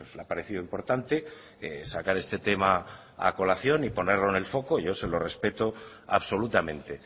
le ha parecido importante sacar este tema a colación y ponerlo en el foco y yo se lo respeto absolutamente